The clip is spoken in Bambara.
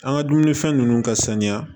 An ka dumunifɛn nunnu ka saniya